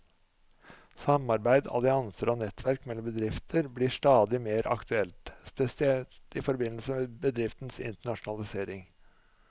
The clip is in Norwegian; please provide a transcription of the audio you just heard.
Samarbeid, allianser og nettverk mellom bedrifter blir stadig mer aktuelt, spesielt i forbindelse med bedrifters internasjonalisering.